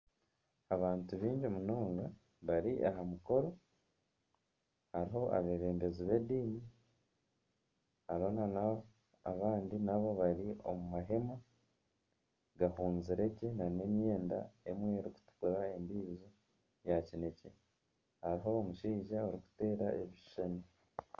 Abantu baingi munonga bari aha mukoro hariho abebembezi b'endiini hariho n'abandi naabo bari omu maheema gahuuzire gye na n'emyenda emwe erikutukura endiijo ya kinekye hariho omushaija orikuteera ebishuushani.